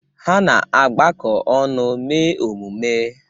Ha na-agbakọ ọnụ mee emume.